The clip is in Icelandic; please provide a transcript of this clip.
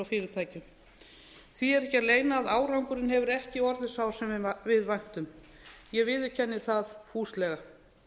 fyrirtækjum því er ekki að leyna að árangurinn hefur ekki orðið sá sem við væntum ég viðurkenni það fúslega